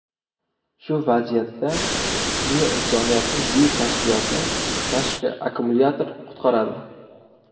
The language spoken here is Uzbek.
Shu vaziyatda sizni insoniyatning buyuk kashfiyoti tashqi akkumulyator qutqaradi.